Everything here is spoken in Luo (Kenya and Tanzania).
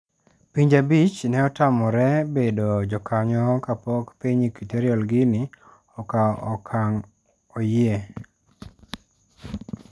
Pinje abich ne otamore bedo jokanyo kapok piny Equatorial Guinea okawo okang' oyie.